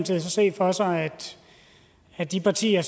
så se for sig at de partier